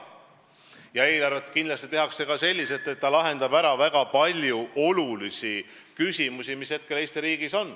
Ja eelarve kindlasti tehakse selliselt, et see lahendab ära väga palju olulisi küsimusi, mis hetkel Eesti riigis on.